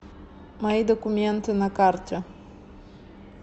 мои документы на карте